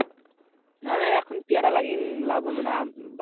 না না এখন পেয়ারা এগিয়ে লাভ হবে না,